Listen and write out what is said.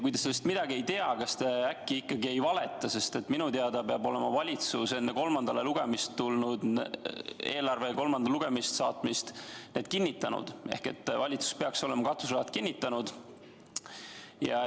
Kui te sellest midagi ei tea, kas te siis äkki ikkagi ei valeta, sest minu teada peab valitsus olema enne eelarve kolmandale lugemisele saatmist selle kinnitanud ehk valitsus peaks olema katuseraha jagamise kinnitanud.